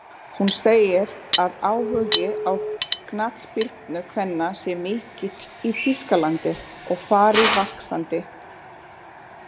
Hún segir að áhugi á knattspyrnu kvenna sé mikill í Þýskalandi og fari vaxandi.